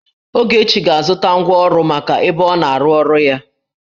Ogechi ga-azụta ngwa ọrụ maka ebe ọna-arụ ọrụ ya